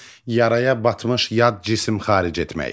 Yaraya batmış yad cisim xaric etmək.